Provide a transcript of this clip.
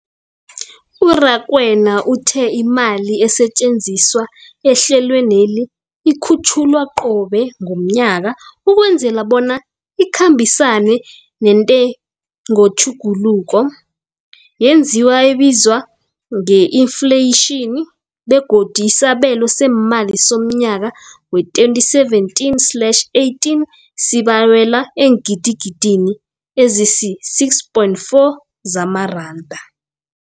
U-Rakwena uthe imali esetjenziswa ehlelweneli ikhutjhulwa qobe ngomnyaka ukwenzela bona ikhambisane nentengotjhuguluko yezinto ebizwa nge-infleyitjhini, begodu isabelo seemali somnyaka we-2017 slash 18 sibalelwa eengidigidini ezisi-6.4 zamaranda.